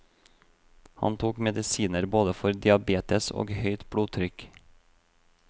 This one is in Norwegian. Han tok medisiner både for diabetes og høyt blodtrykk.